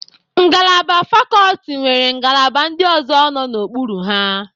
Ngalaba fakọlti nwere ngalaba ndị ọzọ nọ n'ukpuru ha.